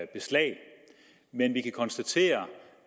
beslag men vi kan konstatere